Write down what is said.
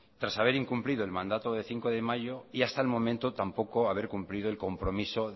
tras haber incumplido el mandato del cinco de mayo y hasta el momento tampoco haber cumplido el compromiso